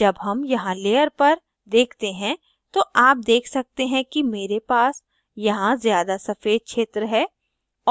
जब हम यहाँ layer पर देखते हैं तो आप देख सकते हैं कि मेरे पास यहाँ ज़्यादा सफ़ेद क्षेत्र है